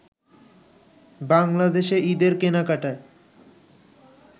বাংলাদেশে ঈদের কেনাকাটায়